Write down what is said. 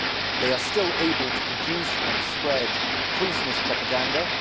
They are still able to produce and spread poisonous propaganda.